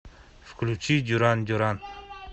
включи дюран дюран